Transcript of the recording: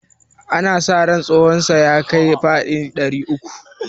ana sa ran tsahonsa ya kai faɗi ɗari uku